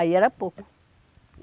Aí era pouco.